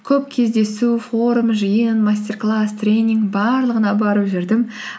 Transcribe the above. көп кездесу форум жиын мастер класс тренинг барлығына барып жүрдім